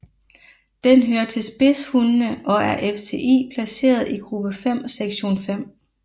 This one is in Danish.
Den hører til spidshundene og er af FCI placeret i gruppe 5 sektion 5